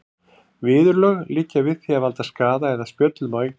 Viðurlög liggja við því að valda skaða eða spjöllum á eignum.